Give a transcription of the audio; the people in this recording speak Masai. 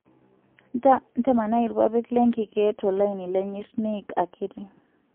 Ntamanai ilpapit lenkike tolaini lenyirt niik akiti.